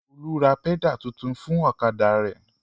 Olú ra pẹ́dà tuntun fún ọ̀kadà rẹ̀.